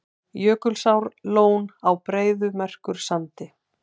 Jökulsárlón á Breiðamerkursandi.